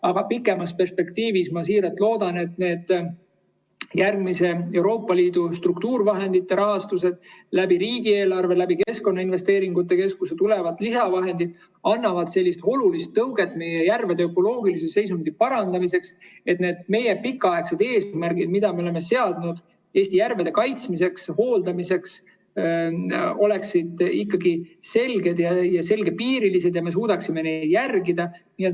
Aga pikemas perspektiivis ma siiralt loodan, et järgmiste Euroopa Liidu struktuurivahendite rahastus ning riigieelarvest ja Keskkonnainvesteeringute Keskusest tulevad lisavahendid annavad olulise tõuke meie järvede ökoloogilise seisundi parandamiseks, et need meie pikaaegsed eesmärgid, mida me oleme seadnud Eesti järvede kaitsmiseks ja hooldamiseks, oleksid ikkagi selged ja selgepiirilised ja me suudaksime neid järgida.